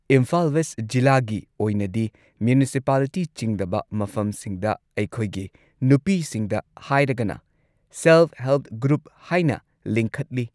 Imphal west ꯖꯤꯂꯥꯒꯤ ꯑꯣꯏꯅꯗꯤ municipality ꯆꯤꯡꯗꯕ ꯃꯐꯝꯁꯤꯡꯗ ꯑꯩꯈꯣꯏꯒꯤ ꯅꯨꯄꯤꯁꯤꯡꯗ ꯍꯥꯏꯔꯒꯅ ꯁꯦꯜ ꯍꯦꯜꯞ ꯒ꯭ꯔꯨꯞ ꯍꯥꯏꯅ ꯂꯤꯡꯈꯠꯂꯤ꯫